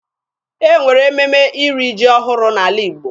E nwere ememe iri ji ọhụrụ n'ala Igbo.